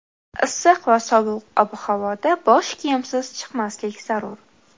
Issiq va sovuq ob-havoda bosh kiyimsiz chiqmaslik zarur.